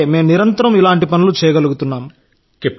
అందుకే మేం నిరంతరం ఇలాంటి పనులు చేయగలుగుతున్నాం